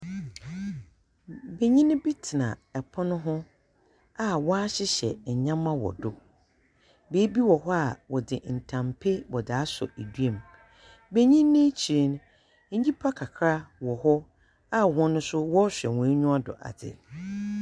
Benyin bi tsena pono ho a wɔahyehyɛ nneɛma wɔ do. Beebi wɔ hɔ a wɔdze ntampe wɔdze asɔ dua mu. Benyin yi ekyir no, nyipa kakra wɔ hɔ, a hɔn nso wɔrehwɛ hɔn aniwa do adze.